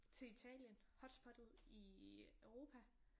Til Italien. Hotspottet i Europa